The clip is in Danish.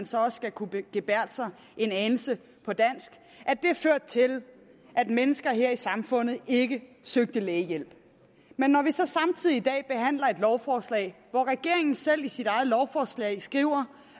så også skal kunne gebærde sig en anelse på dansk har ført til at mennesker her i samfundet ikke søgte lægehjælp men når vi så samtidig i dag behandler et lovforslag hvor regeringen selv i sit eget lovforslag skriver